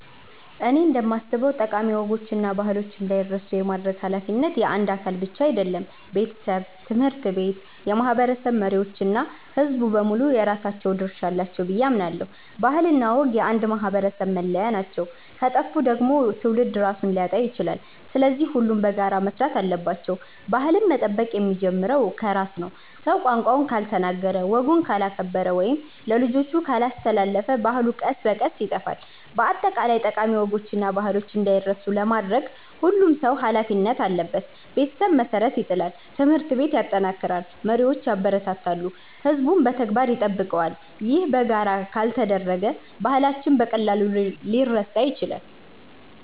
እኔ እንደማስበው ጠቃሚ ወጎችና ባህሎች እንዳይረሱ የማድረግ ኃላፊነት የአንድ አካል ብቻ አይደለም። ቤተሰብ፣ ትምህርት ቤት፣ የማህበረሰብ መሪዎች እና ሕዝቡ በሙሉ የራሳቸው ድርሻ አላቸው ብዬ አምናለሁ። ባህልና ወግ የአንድ ማህበረሰብ መለያ ናቸው፤ ከጠፉ ደግሞ ትውልድ ራሱን ሊያጣ ይችላል። ስለዚህ ሁሉም በጋራ መስራት አለባቸው። ባህልን መጠበቅ የሚጀምረው ከራስ ነው። ሰው ቋንቋውን ካልተናገረ፣ ወጉን ካላከበረ ወይም ለልጆቹ ካላስተላለፈ ባህሉ ቀስ በቀስ ይጠፋል። በአጠቃላይ ጠቃሚ ወጎችና ባህሎች እንዳይረሱ ለማድረግ ሁሉም ሰው ኃላፊነት አለበት። ቤተሰብ መሠረት ይጥላል፣ ትምህርት ቤት ያጠናክራል፣ መሪዎች ያበረታታሉ፣ ሕዝቡም በተግባር ይጠብቀዋል። ይህ በጋራ ካልተደረገ ባህላችን በቀላሉ ሊረሳ ይችላል።